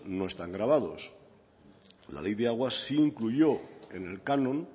no están gravados la ley de aguas sí incluyó en el canon